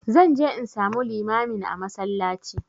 Zan je in samu limamin a masallaci